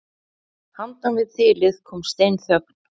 Handan við þilið kom steinþögn.